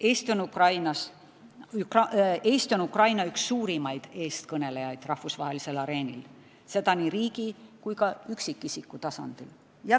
Eesti on Ukraina üks suurimaid eestkõnelejaid rahvusvahelisel areenil, seda nii riigi kui ka üksikisiku tasandil.